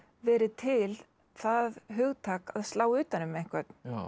verið til það hugtak að slá utan um einhvern